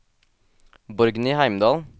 Borgny Heimdal